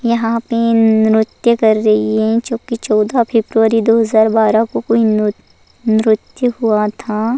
यहां पे नृत्य कर रही है क्योंकि चौदा फरवरी दो हज़ार बारह को कोई नु नृत्य हुआ था।